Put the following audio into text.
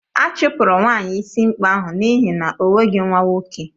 A chụpụrụ nwaanyị ịsị ikpe ahụ n'ihi na o nweghị nwa nwoke